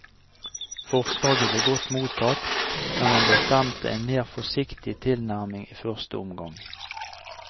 Forslaget ble godt mottatt, men man bestemte en mer forsiktig tilnærming i første omgang.